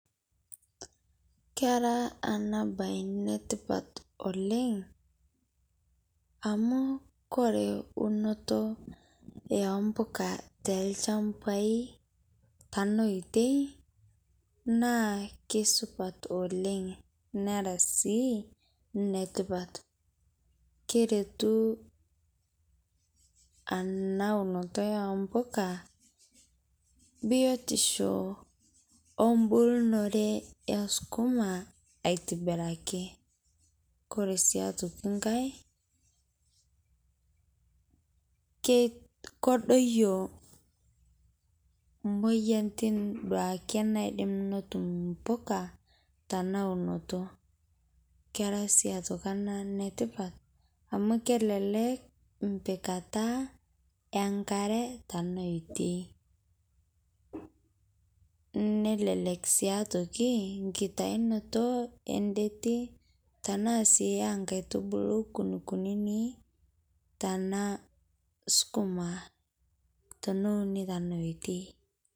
Era ena baye ene tipat oleng' amu kore eunoto o impuka toolchambai tena oitoi naa kesupat oleng', nera sii ene tipat. Keretu ena unoto o mpuka, biotisho o mbulunore o sukuma aitobiraki. Kore sii nkai, kedoyo emoyian teneduaki naaji netum impoka, tena unoto. Kera sii aitoki ene tipat amu kelelek empikata e nkare tena oitoi. Nelelek sii aitoki nkitayunoto endetie tanaa sii aa nkaitubulu kunini kunini tanaa sukuma, taneuni tena oitoi.